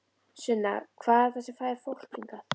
Sunna: Hvað er það sem að fær fólk hingað?